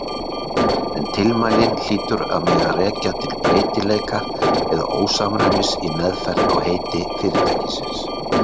En tilmælin hlýtur að mega rekja til breytileika eða ósamræmis í meðferð á heiti fyrirtækisins.